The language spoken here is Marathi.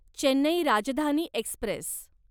चेन्नई राजधानी एक्स्प्रेस